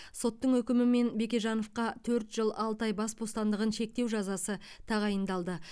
соттың үкімімен бекежановқа төрт жыл алты ай бас бостандығын шектеу жазасы тағайындалды